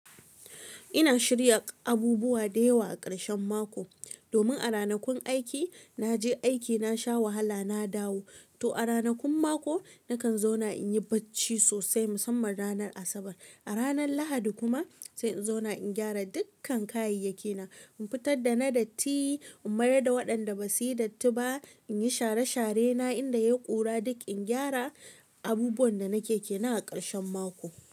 Ina shirya abubuwa da yawa a ƙarshen mako. Domin a ranakun aiki na je aiki, na sha wahala, na dawo. To a ranakun mako na kan zauna in yi bacci sosai musamman ranar Asabar. A ranan Lahadi kuma sai in zauna in gyara dukkan kayayyakina. In fitar da na datti, in mayar da waɗanda ba su yi datti ba. In yi share-sharena inda ya ƙura duk, in gyara abubuwan da nake kenan a ƙarshen mako.